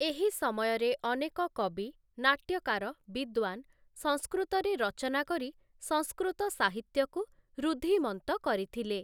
ଏହି ସମୟରେ ଅନେକ କବି ନାଟ୍ୟକାର ବିଦ୍ୱାନ୍ ସଂସ୍କୃତରେ ରଚନା କରି ସଂସ୍କୃତ ସାହିତ୍ୟକୁ ଋଦ୍ଧିମନ୍ତ କରିଥିଲେ ।